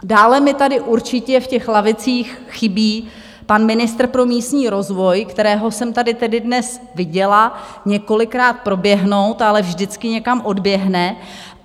Dále mi tady určitě v těch lavicích chybí pan ministr pro místní rozvoj, kterého jsem tedy tady dnes viděla několikrát proběhnout, ale vždycky někam odběhne.